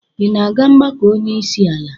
Ị na-aga mgbakọ onye isi ala?